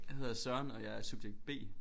Jeg hedder Søren og jeg er subjekt B